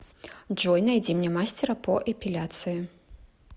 джой найди мне мастера по эпиляции